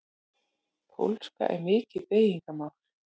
Pólska er mikið beygingamál.